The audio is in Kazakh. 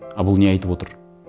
а бұл не айтып отыр